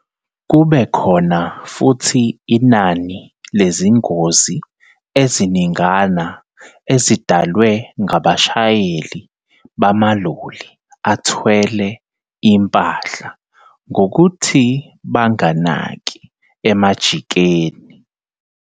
Kube khona futhi inani lezingozi eziningana ezidalwe ngabashayeli bamaloli athwele impahla ngokuthi banganaki emajikeni.